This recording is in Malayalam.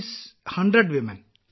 വിജയശാന്തി അതെ 100 സ്ത്രീകൾ